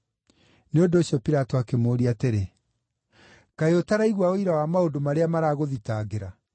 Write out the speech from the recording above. Nĩ ũndũ ũcio Pilato akĩmũũria atĩrĩ, “Kaĩ ũtaraigua ũira wa maũndũ marĩa maragũthitangĩra?”